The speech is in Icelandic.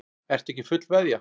Ertu ekki fullveðja?